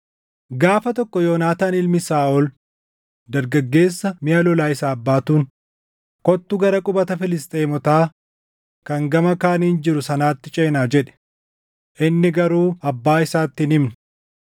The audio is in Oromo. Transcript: Gaafa tokko Yoonaataan ilmi Saaʼol dargaggeessa miʼa lolaa isaaf baatuun, “Kottu gara qubata Filisxeemotaa kan gama kaaniin jiru sanaatti ceenaa” jedhe. Inni garuu abbaa isaatti hin himne.